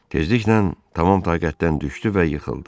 Tezliklə tamam taqətdən düşdü və yıxıldı.